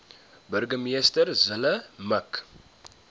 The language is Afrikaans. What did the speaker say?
burgemeester zille mik